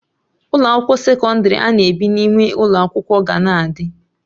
Ụlọ akwụkwọ sekọndrị ana ebi n'ime ụlọ akwụkwọ ga na-adị